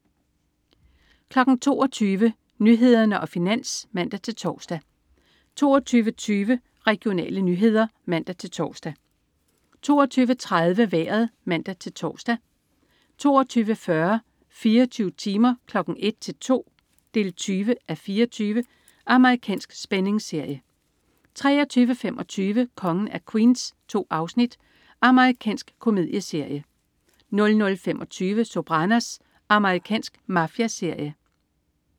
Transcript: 22.00 Nyhederne og Finans (man-tors) 22.20 Regionale nyheder (man-tors) 22.30 Vejret (man-tors) 22.40 24 timer. 01:00-02:00. 20:24. Amerikansk spændingsserie 23.25 Kongen af Queens. 2 afsnit. Amerikansk komedieserie 00.25 Sopranos. Amerikansk mafiaserie